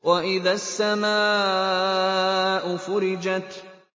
وَإِذَا السَّمَاءُ فُرِجَتْ